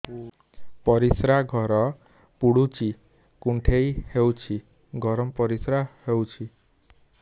ପରିସ୍ରା ଘର ପୁଡୁଚି କୁଣ୍ଡେଇ ହଉଚି ଗରମ ପରିସ୍ରା ହଉଚି